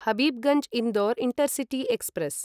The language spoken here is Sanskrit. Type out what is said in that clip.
Habibganj Indore intercity express